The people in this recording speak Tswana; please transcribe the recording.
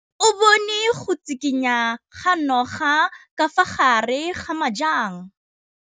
O bone go tshikinya ga noga ka fa gare ga majang.